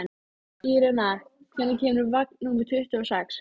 Irena, hvenær kemur vagn númer tuttugu og sex?